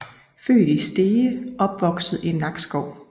Født i Stege og opvokset i Nakskov